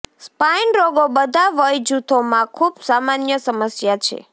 spine રોગો બધા વય જૂથોમાં ખૂબ સામાન્ય સમસ્યા છે